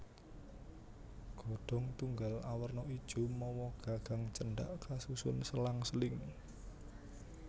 Godhong tunggal awerna ijo mawa gagang cendhak kasusun selang seling